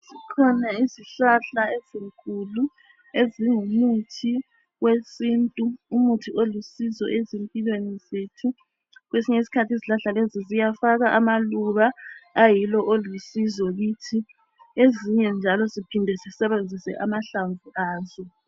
Zikhona izihlahla ezinkulu ezingumuthi wesithu. Umuthi olusizo ezimpilweni zethu. Kwesinye isikhathi izihlahla lezi ziyafaka amaluba ayiwo alusizo kithi, kwesinye isikhathi siyaphinda sisebenzise amahlamvu azo.